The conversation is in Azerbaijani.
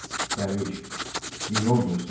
Dərviş, bir yol göstər.